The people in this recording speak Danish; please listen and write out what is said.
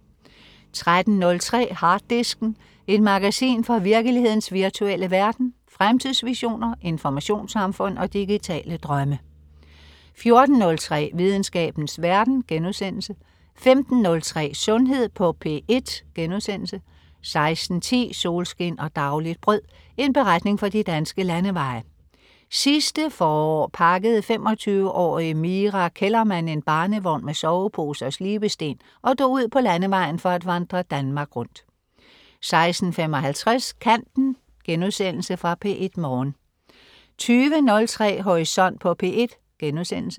13.03 Harddisken. Et magasin fra virkelighedens virtuelle verden. Fremtidsvisioner, informationssamfund og digitale drømme 14.03 Videnskabens verden* 15.03 Sundhed på P1* 16.10 Solskin og dagligt brød. En beretning fra de danske landeveje. Sidste forår pakkede 25-årige Mira Kellermann en barnevogn med sovepose og slibesten og drog ud på landevejen for at vandre Danmark rundt 16.55 Kanten.* Genudsendelse fra P1 Morgen 20.03 Horisont på P1*